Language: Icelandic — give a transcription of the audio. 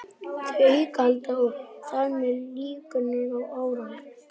Þau auka aðhald og þar með líkurnar á árangri.